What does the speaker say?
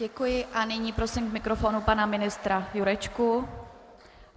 Děkuji a nyní prosím k mikrofonu pana ministra Jurečku.